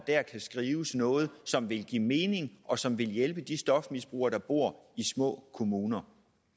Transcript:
kan skrives noget ind som vil give mening og som vil hjælpe de stofmisbrugere der bor i små kommuner